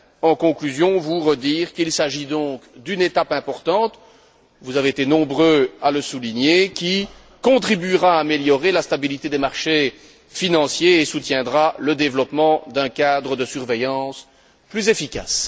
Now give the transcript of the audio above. En conclusion, je souhaiterais rappeler qu'il s'agit donc d'une étape importante vous avez été nombreux à le souligner qui contribuera à améliorer la stabilité des marchés financiers et soutiendra le développement d'un cadre de surveillance plus efficace.